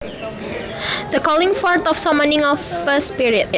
The calling forth or summoning of a spirit